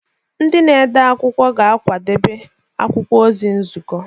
Ndị na-ede akwụkwọ ga-akwadebe akwụkwọ ozi nzukọ.